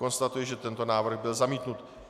Konstatuji, že tento návrh byl zamítnut.